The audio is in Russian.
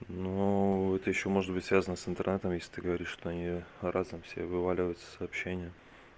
ну это ещё может быть связано с интернетом если ты говоришь что у неё разом все вываливается сообщения